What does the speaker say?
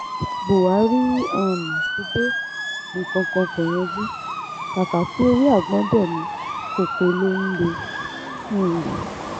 buhari um ti dé nǹkan kan kó yanjú kàkà kí ewé àgbọ̀n dé ní koko ló ń lé um